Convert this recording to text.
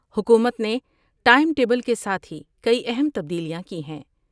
حکومت نے time table کے ساتھ ہی کئی اہم تبدیلیاں کی ہیں ۔